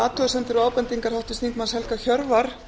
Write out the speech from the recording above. athugasemdir og ábendingar háttvirts þingmanns helga hjörvar